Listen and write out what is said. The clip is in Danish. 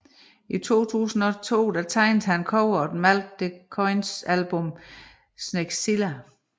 I 2002 tegnede han coveret Malk de Koijns album Sneglzilla